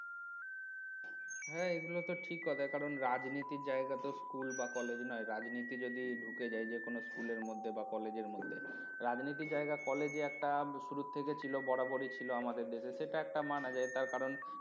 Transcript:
হ্যাঁ এগুলো তো ঠিক কথা কারণ রাজনীতির জায়গা তো school বা college নয় রাজনীতি যদি ঢুকে যায় যে কোন school এর মধ্যে বা college এর মধ্যে রাজনীতির জায়গা college এ একটা শুরুর থেকে ছিল বরাবরই ছিল আমাদের দেশে সেটা একটা মানা যায় তার কারণ